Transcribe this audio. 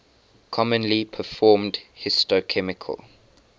commonly performed histochemical